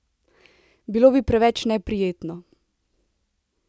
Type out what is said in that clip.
Bilo bi preveč neprijetno!